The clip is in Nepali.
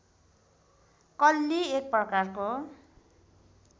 कल्ली एक प्रकारको